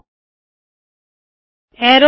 ਵੇੱਖੋ ਕਿ ਇਕ ਐਰੋ ਵਾਲੀ ਲਾਇਨ ਬਣੀ ਹੈ